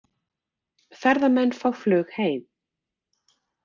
Ferðamenn fá flug heim